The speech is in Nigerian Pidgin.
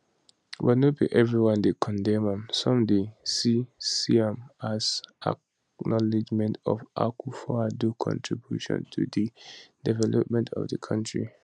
but no be evri one dey condemn am some dey see see am as acknowledgement of akufoaddo contributions to di development of di kontri